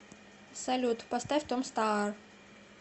салют поставь том стаар